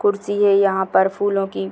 कुर्सी है यहाँ पर फूलों की --